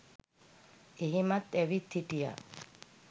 එහෙමත් ඇවිත් හිටියා.